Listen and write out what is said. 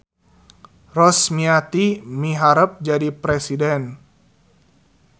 Rosmiati miharep jadi presiden